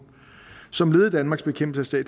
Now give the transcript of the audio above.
som led i danmarks bekæmpelse af